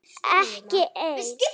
Ekki ein.